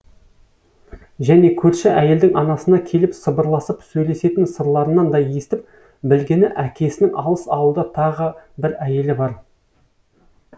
және көрші әйелдің анасына келіп сыбырласып сөйлесетін сырларынан да естіп білгені әкесінің алыс ауылда тағы бір әйелі бар